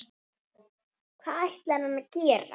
Hvað ætlar hann að gera?